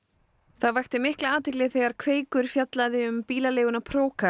það vakti mikla athygli þegar Kveikur fjallaði um bílaleiguna